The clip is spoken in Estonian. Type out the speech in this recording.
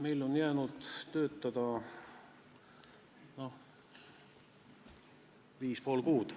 Meil on jäänud töötada viis ja pool kuud.